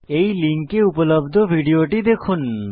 এই লিঙ্কে উপলব্ধ ভিডিওটি দেখুন